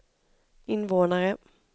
invånare